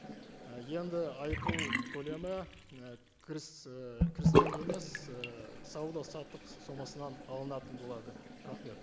і енді айыппұл көлемі і кіріс і кірістен емес і сауда саттық сомасынан алынатын болады рахмет